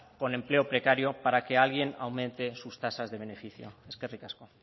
con empleo precario para que alguien aumente sus tasas de beneficio eskerrik asko